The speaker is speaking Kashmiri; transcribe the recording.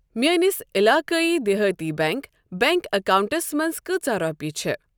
میٲنِس عِلاقایی دِہاتی بیٚنٛک بینک اکاونٹَس منٛز کۭژاہ رۄپیہِ چھِ؟